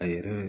A yɛrɛ